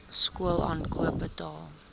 skool aankoop betaal